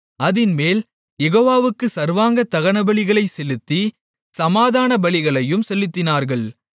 அதின்மேல் யெகோவாவுக்கு சர்வாங்க தகனபலிகளைச் செலுத்தி சமாதானபலிகளையும் செலுத்தினார்கள்